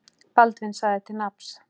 Baldvin sagði til nafns.